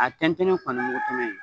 A tɛntɛnni fana ye kulo ye.